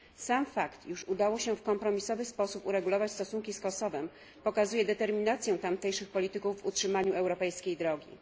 Sam fakt, iż udało się w kompromisowy sposób uregulować stosunki z Kosowem, pokazuje determinację tamtejszych polityków w utrzymaniu europejskiej drogi.